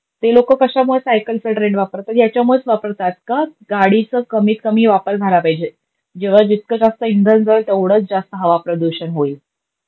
ते लोक कशामुळे सायकलचा ट्रेंड वापरतात, याच्यामुळेच वापरतात, का? गाडीचा कमीत कमी वापर झाला पाहिजे. जेव्हा जितकं जास्त इंधन जळेल, तेवढच जास्त हवा प्रदूषण होईल.